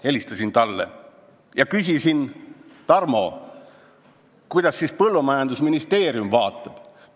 Helistasin talle ja küsisin, et, Tarmo, kuidas siis põllumajandusministeerium sellele vaatab.